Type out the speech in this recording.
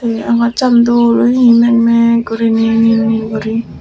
agachan dol oye meg meg guriney nil nil guri.